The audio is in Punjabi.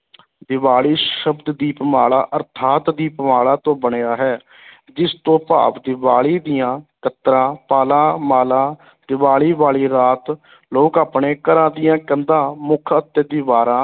ਦੀਵਾਲੀ ਸ਼ਬਦ ਦੀਪਮਾਲਾ ਅਰਥਾਤ ਦੀਪਮਾਲਾ ਤੋਂ ਬਣਿਆ ਹੈ ਜਿਸ ਤੋਂ ਭਾਵ ਦੀਵਾਲੀ ਦੀਆਂ ਕਤਰਾਂ, ਪਾਲਾਂ, ਮਾਲਾ ਦੀਵਾਲੀ ਵਾਲੀ ਰਾਤ ਲੋਕ ਆਪਣੇ ਘਰਾਂ ਦੀਆਂ ਕੰਧਾਂ, ਮੁੱਖ ਅਤੇ ਦੀਵਾਰਾਂ